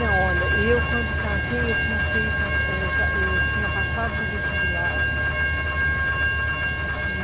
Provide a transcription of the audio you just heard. Não, olha, eu quando casei, eu tinha feito... Eu tinha passado para o vestibular.